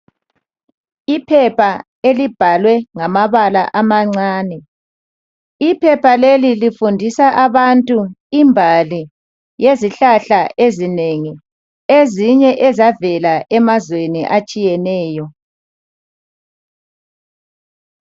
Iphepha elibhalwe ngamabala amancane. Iphepha leli lifundisa abantu imbali yezihlahla ezinengi, ezinye ezavela emazweni atshiyeneyo.